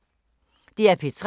DR P3